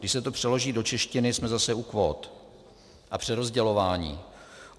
Když se to přeloží do češtiny, jsme zase u kvót a přerozdělování.